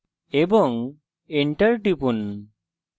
এবং enter টিপুন